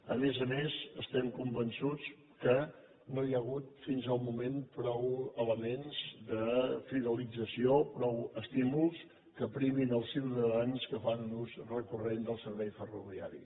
a més a més estem convençuts que no hi ha hagut fins al moment prou elements de fidelització prou estímuls que primin els ciutadans que fan un ús recorrent del servei ferroviari